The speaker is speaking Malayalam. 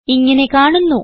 ഇങ്ങനെ കാണുന്നു